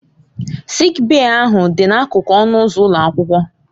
Sịịk bèyí ahụ dị n'akụkụ ọnụ ụzọ ụlọ akwụkwọ.